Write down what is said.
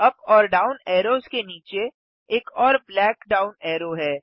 up और down arrows के नीचे एक और ब्लैक डाउन अरो है